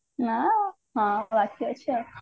ଆଁ ହାଉ ବାକି ଅଛି ଆଉ